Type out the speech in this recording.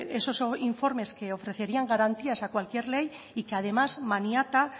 esos informes que ofrecerían garantías a cualquier ley y que además maniata